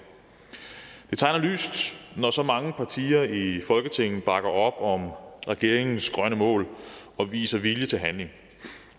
det tegner lyst når så mange partier i folketinget bakker op om regeringens grønne mål og viser vilje til handling